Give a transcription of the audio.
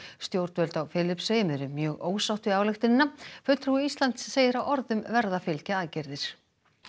stjórnvöld á Filippseyjum eru mjög ósátt við ályktunina fulltrúi Íslands segir að orðum verði að fylgja aðgerðir